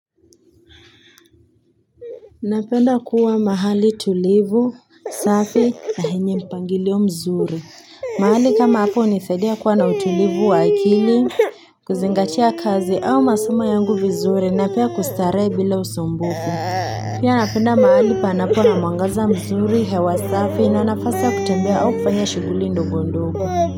Napenda kuwa mahali tulivu, safi, na yenye mpangilio mzuri. Mahali kama hapo, hunisaidia kuwa na utulivu wa akili, kuzingatia kazi au masamo yangu vizuri na pia kustarehe bila usumbufu. Pia, napenda mahali panapo na mwangaza mzuri, hewa safi, na nafasi ya kutembea au kufanya shughuli ndogondogo.